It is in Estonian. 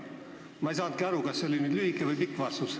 Ma ei saanudki aru, kas see oli nüüd lühike või pikk vastus.